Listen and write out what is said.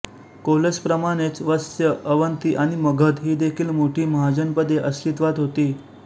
कोसलप्रमाणेच वत्स अवंती आणि मगध हीदेखील मोठी महाजनपदे अस्तित्वात होती